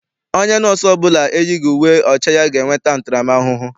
Onye nọọsụ ọbụla eyighị uwe ọcha ya ga-enwe ntaram ahụhụ.